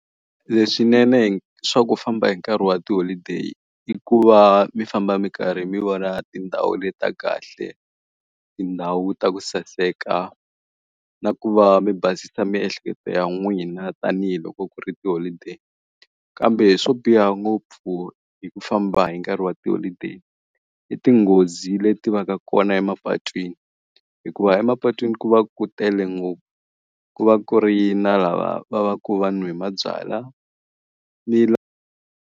Leswinene hi swa ku famba hi nkarhi wa tiholideyi, i ku va mi famba mi karhi mi vona tindhawu leti ta kahle, tindhawu ta ku saseka, na ku va mi basisa miehleketo ya n'wina tanihiloko ku ri tiholideyi. Kambe swo biha ngopfu hi ku famba hi nkarhi wa tiholideyi, i tinghozi leti va ka kona emapatwini. Hikuva emapatwini ku va ku tele ngopfu. Ku va ku ri na lava va va ku va nwe mabyalwa ni .